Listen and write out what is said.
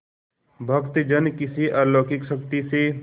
भक्तजन किसी अलौकिक शक्ति से